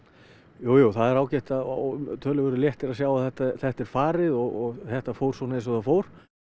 jú jú það er ágætt og töluverður léttir að sjá að þetta þetta er farið og þetta fór svona eins og það fór